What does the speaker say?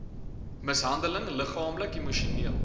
mishandeling liggaamlik emosioneel